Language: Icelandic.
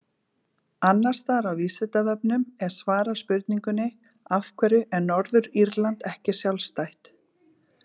Annars staðar á Vísindavefnum er svarað spurningunni Af hverju er Norður-Írland ekki sjálfstætt?